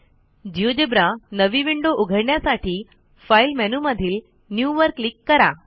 GeoGebra नवी window उघडण्यासाठी file मेनूमधील न्यू वर क्लिक करा